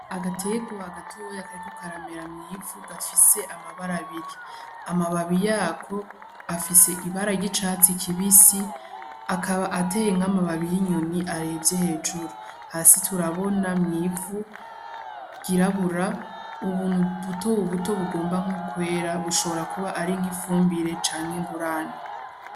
Agaterwa gatoyi kariko karamera mw'ivu gafise amabara abiri. Amababi yako afise ibara ry'icatsi kibisi, akaba ateye nk'amababa y'inyoni aravye hejuru. Hasi turabona mw'ivu ryirabura, ubuntu butobuto bugomba kwera. Bushobora kuba ari nk'ifumbira canke ingurane.